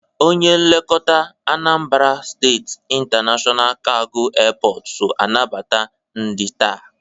Onye nlekọta Anambra State International Cargo Airport so anabata ndị taa.